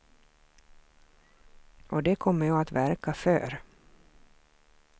Och det kommer jag att verka för.